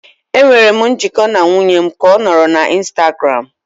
Enwere m njikọ na nwunye m ka ọ nọrọ na Instagram.